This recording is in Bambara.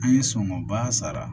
An ye sɔngɔba sara